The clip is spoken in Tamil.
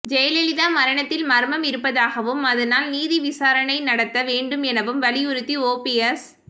ஜெயலலிதா மரணத்தில் மர்மம் இருப்பதாகவும் அதனால் நீதி விசாரணை நடத்த வேண்டும் எனவும் வலியுறுத்தி ஓபிஎஸ்